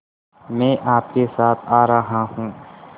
मैं आपके साथ आ रहा हूँ